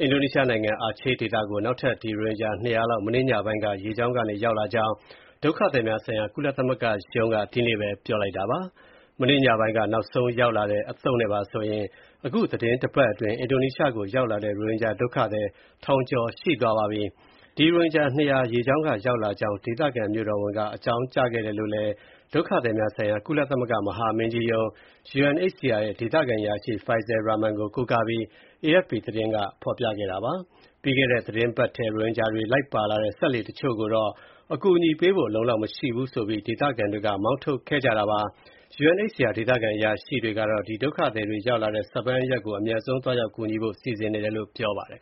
အင်ဒိုနီးရှားနိုင်ငံ အာချေးဒေသကို နောက်ထပ် ရိုဟင်ဂျာ ၂၀၀ လောက် မနေ့ညပိုင်းက ရေကြောင်းကနေ ရောက်လာကြောင်း ဒုက္ခသည်များဆိုင်ရာ ကုလသမဂ္ဂရုံးက ဒီကနေ့ပဲ ပြောလိုက်ပါတယ်။ မနေ့ညပိုင်းက နောက်ဆုံးရောက်လာတဲ့ အသုတ်နဲ့ပါဆိုရင် သီတင်းတပတ်အတွင်း အင်ဒိုနီးရှားကို ရောက်လာတဲ့ ရိုဟင်ဂျာ ထောင်ကျော်ရှိသွားပါပြီ။ ရိုဟင်ဂျာ ၂၀၀ ရေကြောင်းက ရောက်လာကြောင်း ဒေသခံမြို့တော်ဝန်က အကြောင်းကြားခဲ့တယ်လို့လည်း ဒုက္ခသည်များဆိုင်ရာ ကုလသမဂ္ဂ မဟာမင်းကြီးရုံး (UNHCR) ရဲ့ ဒေသခံအရာရှိ Faisal Rahman (ဖိုင်စဲ ရာမန်) ကို ကိုးကားပြီး AFP သတင်းက ဖော်ပြခဲ့တာပါ။ ပြီးခဲ့တဲ့သီတင်းပတ်ထဲ ရိုဟင်ဂျာတွေ လိုက်ပါလာတဲ့ စက်လှေတချို့ကိုတော့ အကူအညီပေးဖို့ အလုံအလောက် မရှိဘူးဆိုပြီး ဒေသခံတွေက မောင်းထုတ်ခဲ့ကြတာပါ။ UNHCR ဒေသခံအရာရှိကတော့ ဒုက္ခသည်တွေ ရောက်လာတဲ့ Sabang (ဆာဘန်) အရပ်ကို အမြန်ဆုံးသွားရောက် ကူညီဖို့ စီစဉ်နေတယ်လို့ ပြောပါတယ်